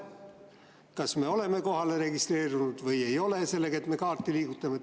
Kas me oleme kohalolijaks registreerunud või ei ole sellega, et me kaarti liigutame?